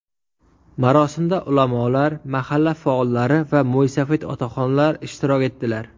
Marosimda ulamolar, mahalla faollari va mo‘ysafid otaxonlar ishtirok etdilar.